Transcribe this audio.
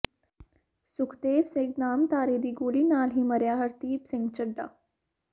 ਸੁਖਦੇਵ ਸਿੰਘ ਨਾਮਧਾਰੀ ਦੀ ਗੋਲੀ ਨਾਲ ਹੀ ਮਰਿਆ ਹਰਦੀਪ ਸਿੰਘ ਚੱਢਾ